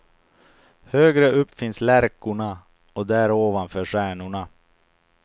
Högre upp finns lärkorna och där ovanför stjärnorna.